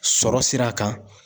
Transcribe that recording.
Sɔrɔ sira kan.